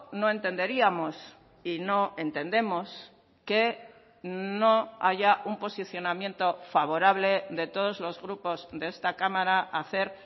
no entenderíamos y no entendemos que no haya un posicionamiento favorable de todos los grupos de esta cámara a hacer